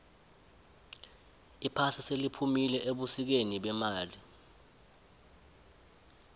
iphasi seliphumile ebusikeni bemali